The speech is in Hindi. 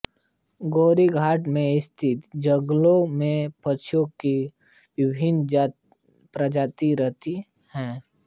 गोरी घाटी में स्थित जंगलों में पक्षियों की विभिन्न प्रजातियां रहती हैं